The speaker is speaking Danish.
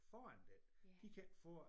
Foran den de kan ikke få